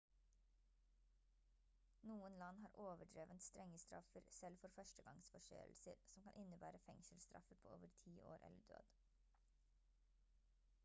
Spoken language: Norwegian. noen land har overdrevent strenge straffer selv for første gangs forseelser som kan innebære fengselsstraffer på over ti år eller død